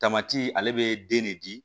Tamati ale be den ne di